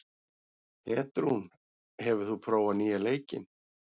Petrún, hefur þú prófað nýja leikinn?